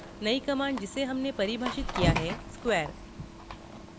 new command जिसे हमने परिभाषित किया है square है